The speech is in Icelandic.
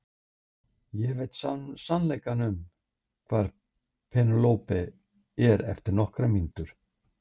Ég veit sannleikann um það hvar Pénelope er eftir nokkrar mínútur.